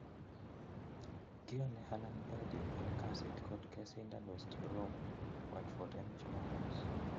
Kione Alan Pardew en kasit kot kesindan westbrom watford en jumamos